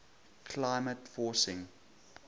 climate forcing